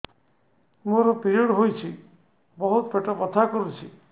ମୋର ପିରିଅଡ଼ ହୋଇଛି ବହୁତ ପେଟ ବଥା କରୁଛି